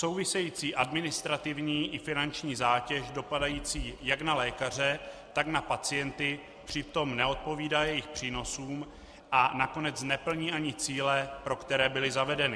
Související administrativní i finanční zátěž dopadající jak na lékaře, tak na pacienty přitom neodpovídá jejich přínosům a nakonec neplní ani cíle, pro které byly zavedeny.